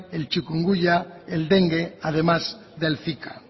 el chikungunya el dengue además del zika